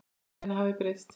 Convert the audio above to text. Líf hennar hafði breyst.